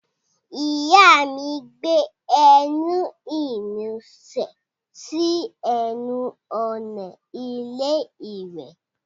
Ìyá mi gbé ẹní ìnusẹ̀ sí ẹnu ọ̀nà ilé iwẹ̀.